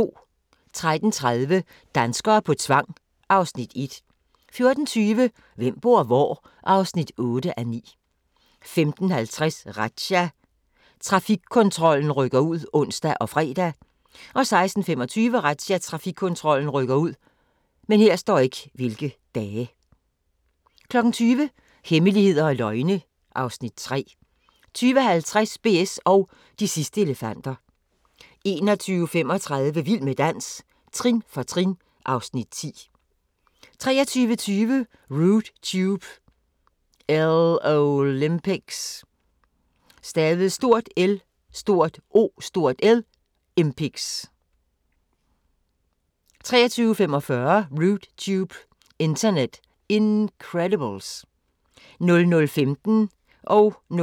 13:30: Danskere på tvang (Afs. 1) 14:20: Hvem bor hvor? (8:9) 15:50: Razzia – Trafikkontrollen rykker ud (ons og fre) 16:25: Razzia – Trafikkontrollen rykker ud 20:00: Hemmeligheder og løgne (Afs. 3) 20:50: BS & de sidste elefanter 21:35: Vild med dans – trin for trin (Afs. 10) 23:20: Rude Tube – LOLympics 23:45: Rude Tube – Internet Incredibles 00:15: Grænsepatruljen